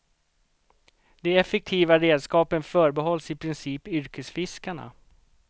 De effektiva redskapen förbehålls i princip yrkesfiskarna.